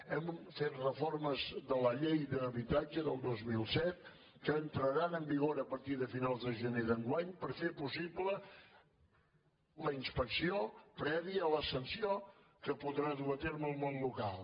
hem fet reformes de la llei d’habitatge del dos mil set que entra·ran en vigor a partir de finals de gener d’enguany per fer possible la inspecció prèvia a la sanció que podrà dur a terme el món local